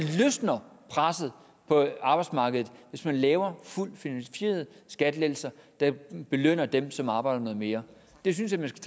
løsner presset på arbejdsmarkedet hvis man laver fuldt finansierede skattelettelser der belønner dem som arbejder noget mere det synes